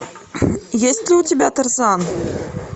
есть ли у тебя тарзан